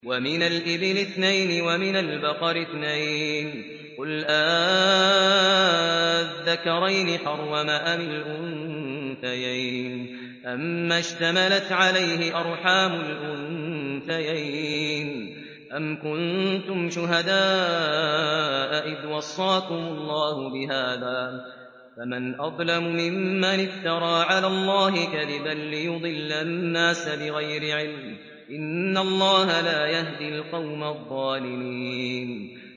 وَمِنَ الْإِبِلِ اثْنَيْنِ وَمِنَ الْبَقَرِ اثْنَيْنِ ۗ قُلْ آلذَّكَرَيْنِ حَرَّمَ أَمِ الْأُنثَيَيْنِ أَمَّا اشْتَمَلَتْ عَلَيْهِ أَرْحَامُ الْأُنثَيَيْنِ ۖ أَمْ كُنتُمْ شُهَدَاءَ إِذْ وَصَّاكُمُ اللَّهُ بِهَٰذَا ۚ فَمَنْ أَظْلَمُ مِمَّنِ افْتَرَىٰ عَلَى اللَّهِ كَذِبًا لِّيُضِلَّ النَّاسَ بِغَيْرِ عِلْمٍ ۗ إِنَّ اللَّهَ لَا يَهْدِي الْقَوْمَ الظَّالِمِينَ